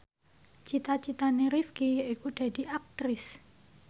cita citane Rifqi yaiku dadi Aktris